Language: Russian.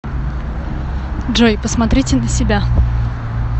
джой посмотрите на себя